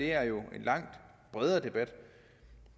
er jo en langt bredere debat